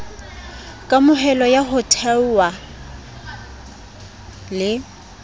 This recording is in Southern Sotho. kamohelo ya ho thonngwa le